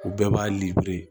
U bɛɛ b'a